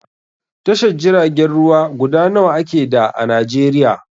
Tashar jiragen ruwa guda nawa ake da a Najeriya?